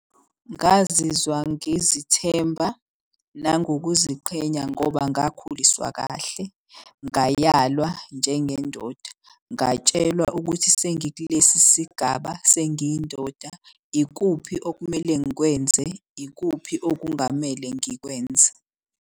Ngazizwa ngizithemba nangokuziqhenya ngoba ngakhuliswa kahle, ngayalwa njengendoda. Ngatshelwa ukuthi sengikulesi sigaba sengiyindoda ikuphi okumele ngikwenze, ikuphi okungamele ngikwenze.